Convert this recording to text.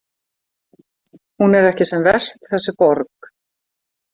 Hún er ekki sem verst, þessi borg.